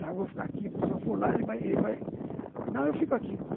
Não, eu vou ficar aqui, porque se eu for lá, ele vai... Não, eu fico aqui.